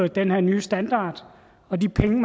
den her nye standard og de penge